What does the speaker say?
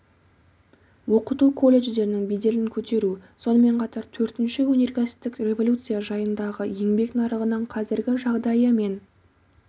оқыту колледждердің беделін көтеру сонымен қатар төртінші өнеркәсіптік революция жағдайындағы еңбек нарығының қазіргі жағдайы мен